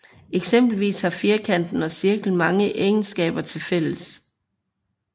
Eksempelvis har firkanten og cirklen mange egenskaber til fælles